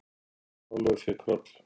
Jón Ólafur fékk hroll.